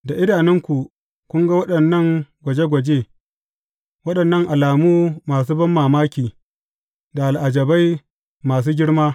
Da idanunku kun ga waɗannan gwaje gwaje, waɗannan alamu masu banmamaki, da al’ajabai masu girma.